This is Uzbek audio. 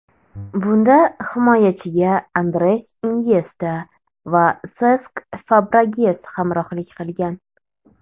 Bunda himoyachiga Andres Inyesta va Sesk Fabregas hamrohlik qilgan.